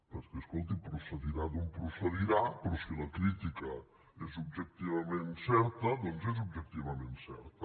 perquè escolti procedirà d’on procedirà però si la crítica és objectivament certa doncs és objectivament certa